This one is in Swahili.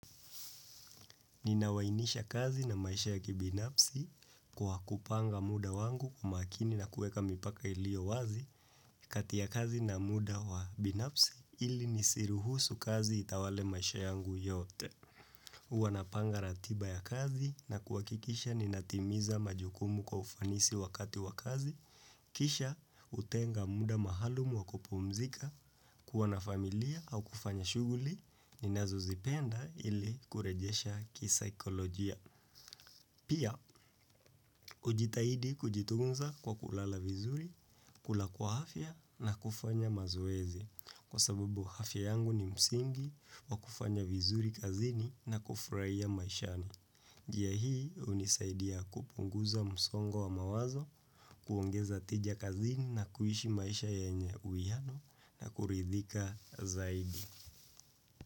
Ninawainisha kazi na maisha ya kibinafsi kwa kupanga muda wangu kwa makini na kueka mipaka ilio wazi kati ya kazi na muda wa binafsi ili nisiruhusu kazi itawale maisha yangu yote. Huwa napanga ratiba ya kazi na kuhakikisha ninatimiza majukumu kwa ufanisi wakati wa kazi, kisha kutenga muda maalumu wa kupumzika, kuwa na familia au kufanya shughuli, ninazozipenda ili kurejesha kisaikolojia. Pia, ujitahidi kujitunza kwa kulala vizuri, kula kwa afya na kufanya mazoezi, kwa sababu afya yangu ni msingi wa kufanya vizuri kazini na kufurahia maishani. Njia hii hunisaidia kupunguza msongo wa mawazo, kuongeza tija kazini na kuishi maisha yenye uiano na kuridhika zaidi.